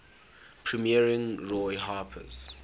premiering roy harper's